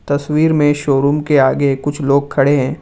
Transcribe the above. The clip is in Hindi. तस्वीर में शोरूम के आगे कुछ लोग खड़े हैं।